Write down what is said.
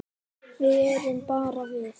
Við erum bara við